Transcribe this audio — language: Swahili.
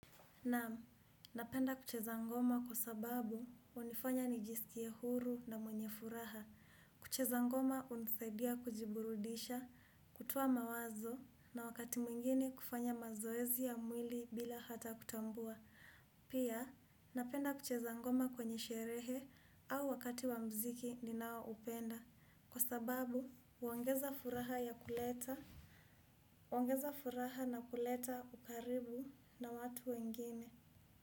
Naam, napenda kucheza ngoma kwa sababu hunifanya nijisikie huru na mwenye furaha. Kucheza ngoma hunisaidia kujiburudisha, kutoa mawazo na wakati mwingini kufanya mazoezi ya mwili bila hata kutambua. Pia, napenda kucheza ngoma kwenye sherehe au wakati wa muziki ninaoupenda. Kwa sababu, huongeza furaha na kuleta ukaribu na watu wengine.